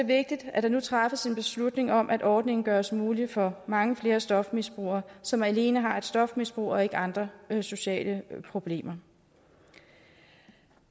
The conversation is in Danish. vigtigt at der nu træffes en beslutning om at ordningen gøres mulig for mange flere stofmisbrugere som alene har et stofmisbrug og ikke andre sociale problemer